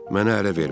Mənə əl eləmə.